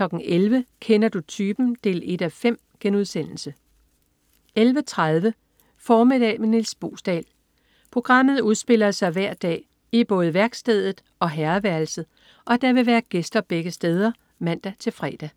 11.00 Kender du typen? 1:5* 11.30 Formiddag med Nis Boesdal. Programmet udspiller sig hver dag i både værkstedet og herreværelset, og der vil være gæster begge steder (man-fre)